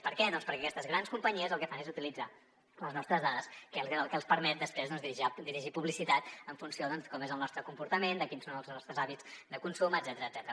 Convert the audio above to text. per què doncs perquè aquestes grans companyies el que fan és utilitzar les nostres dades que és el que els permet després dirigir publicitat en funció doncs com és el nostre comportament de quins són els nostres hàbits de consum etcètera